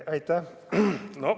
Aitäh!